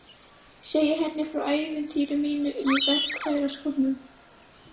Segi henni frá ævintýri mínu í verkfæraskúrnum.